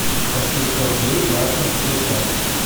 пошли сто рублей брату на телефон